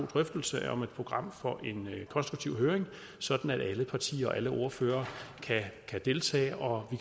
drøftelse om et program for en konstruktiv høring sådan at alle partier og alle ordførere kan deltage og